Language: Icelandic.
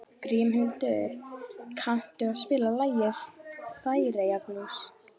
Grímhildur, kanntu að spila lagið „Færeyjablús“?